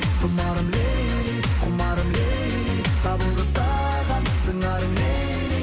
тұмарым лейли кұмарым лейли табылды саған сыңарың лейли